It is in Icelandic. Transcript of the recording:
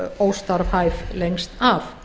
óstarfhæf lengst af